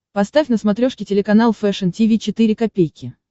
поставь на смотрешке телеканал фэшн ти ви четыре ка